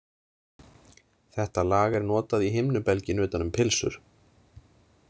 Þetta lag er notað í himnubelginn utan um pylsur.